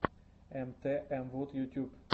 эмтээмвуд ютюб